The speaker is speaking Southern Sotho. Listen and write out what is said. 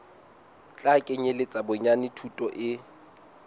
tla kenyeletsa bonyane thuto e